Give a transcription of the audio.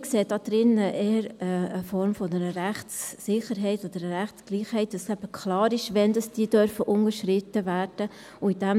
Wir sehen darin eher eine Form einer Rechtssicherheit oder einer Rechtsgleichheit, damit eben klar ist, wann diese unterschritten werden dürfen.